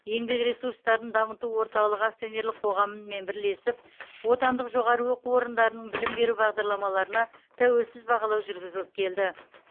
еңбек ресурстарын дамыту орталығы акционерлік қоғамы мен бірлесеп отандық жоғары оқу орындарының білім беру бағдарламаларына тәуелсіз бағалау жүргізіліп келді